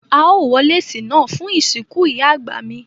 Ao wọ lẹ̀cè náà fún ìsínkú Ìyá àgbà mi